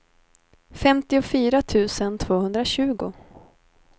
femtiofyra tusen tvåhundratjugo